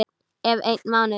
Eftir einn mánuð?